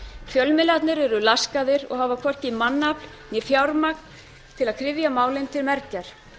fjölmiðlarnir eru laskaðir og hafa hvorki mannafl né fjármagn til að kryfja málin til mergjar